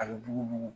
A bɛ bugu